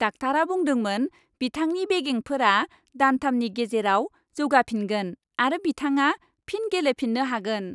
डाक्टारा बुंदोंमोन, बिथांनि बेगेंफोरा दानथामनि गेजेराव जौगाफिनगोन आरो बिथांआ फिन गेलेफिन्नो हागोन।